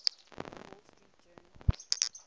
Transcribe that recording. wall street journal